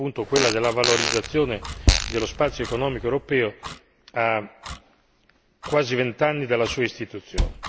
appunto quella della valorizzazione dello spazio economico europeo a quasi vent'anni dalla sua istituzione.